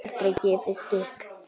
Aldrei gefist upp.